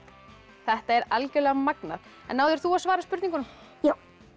þetta er magnað en náðir þú að svara spurningunum já